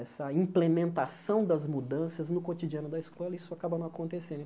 Essa implementação das mudanças no cotidiano da escola, isso acaba não acontecendo.